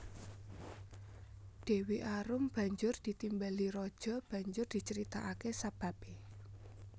Dewi Arum banjur ditimbali raja banjur dicaritakake sababe